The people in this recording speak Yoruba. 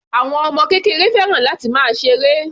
Àwọn ọmọ kékeré fẹ́ràn láti máa ṣe eré.